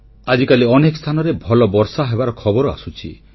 ଆଜିକାଲି ଅନେକ ସ୍ଥାନରେ ଭଲ ବର୍ଷାହେବାର ଖବର ଆସୁଛି